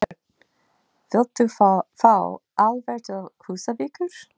Björn: Vilt þú fá álver til Húsavíkur?